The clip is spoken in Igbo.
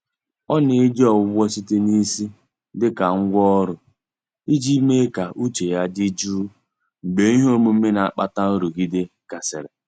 Ọ na-eji Ọgwụgwọ site na isi dịka ngwá ọrụ, iji mee ka uche ya dị jụụ mgbe ihe omume na-akpata nrụgide gasịrị.